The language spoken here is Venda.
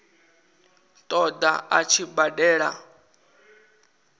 ṱo ḓa a tshi badela